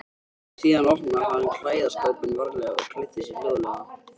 Síðan opnaði hann klæðaskápinn varlega og klæddi sig hljóðlega.